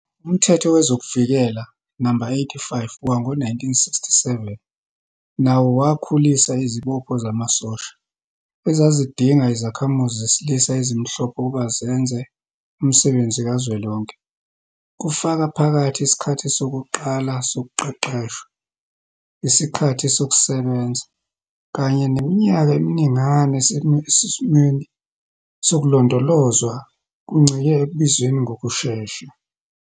Umthetho Wezokuvikela, No. 85, wango-1967 nawo wakhulisa izibopho zamasosha, ezazidinga izakhamuzi zesilisa ezimhlophe ukuba zenze umsebenzi kazwelonke, kufaka phakathi isikhathi sokuqala sokuqeqeshwa, isikhathi sokusebenza, kanye neminyaka eminingana esesimweni sokulondolozwa, kuncike ekubizweni ngokushesha.